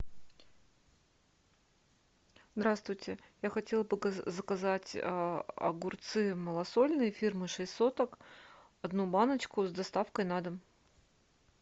здравствуйте я хотела бы заказать огурцы малосольные фирмы шесть соток одну баночку с доставкой на дом